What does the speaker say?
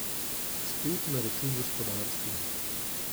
Spet na račun gospodarstva.